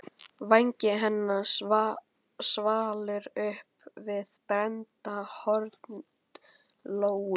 Vangi hennar svalur uppi við brennandi hörund Lóu.